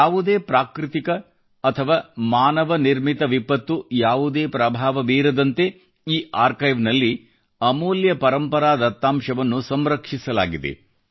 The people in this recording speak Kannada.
ಯಾವುದೇ ಪ್ರಾಕೃತಿಕ ಅಥವಾ ಮಾನವ ನಿರ್ಮಿತ ವಿಪತ್ತು ಯಾವುದೇ ಪ್ರಭಾವ ಬೀರದಂತೆ ಈ ಆರ್ಕೈವ್ ನಲ್ಲಿ ಅಮೂಲ್ಯ ಪರಂಪರಾ ದತ್ತಾಂಶವನ್ನು ಸಂರಕ್ಷಿಸಲಾಗಿದೆ